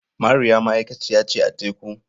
Mariya ma'aikaciya ce a tekun.